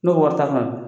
Ne ko wari ta fana